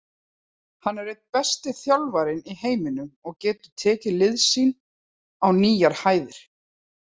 Hann er einn besti þjálfarinn í heiminum og getur tekið lið sín á nýjar hæðir.